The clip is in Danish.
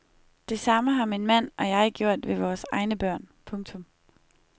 Det samme har min mand og jeg gjort med vores egne børn. punktum